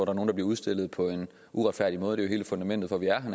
at nogen bliver udstillet på en uretfærdig måde det er hele fundamentet for at vi er